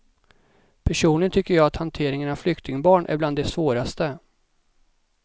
Personligen tycker jag att hanteringen av flyktingbarn är bland det svåraste.